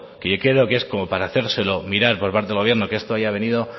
que creo que es como para hacérselo mirar por parte del gobierno que esto haya venido